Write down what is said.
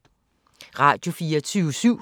Radio24syv